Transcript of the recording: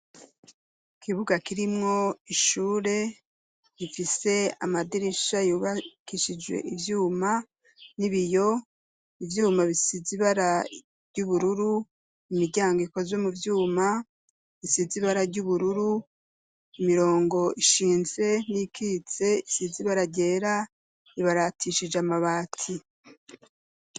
Ikibuga kirimwo ishure rifise amadirisha yubakishijwe ivyuma n'ibiyo, ivyuma bisize ibara ry'ubururu, imiryango ikozwe mu vyuma isize ibara ry'ubururu, imirongo ishinze n'iyikitse isize ibara ryera, ibaratishije amabati.